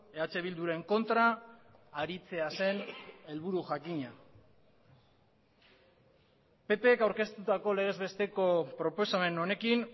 eh bilduren kontra aritzea zen helburu jakina pp k aurkeztutako legezbesteko proposamen honekin